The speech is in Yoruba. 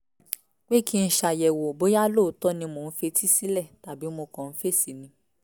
pé kí n ṣàyẹ̀wò bóyá lóòótọ́ ni mò ń fetí sílẹ̀ tàbí mo kàn ń fèsì ni